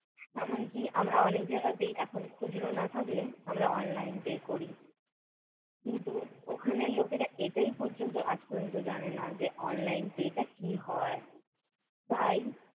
এমনকি আমরা অনেকে জায়গাতেই এখন খুচরো না থাকলে আমরা online pay করি। কিন্তু ওখানের লোকেরা এটাই পর্যন্ত আজ পর্যন্ত জানেনা যে online pay টা কী হয়! তাই